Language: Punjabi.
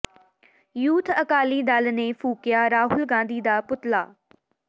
ਯੂਥ ਅਕਾਲੀ ਦਲ ਨੇ ਫੂਕਿਆ ਰਾਹੁਲ ਗਾਂਧੀ ਦਾ ਪੁਤਲਾ